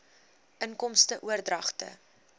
inkomste oordragte